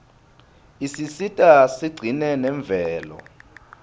isisita sigcine nemvelo